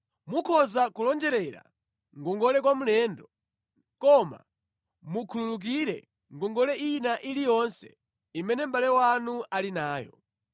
Mukhoza kulonjerera ngongole kwa mlendo, koma mukhululukire ngongole ina iliyonse imene mʼbale wanu ali nayo.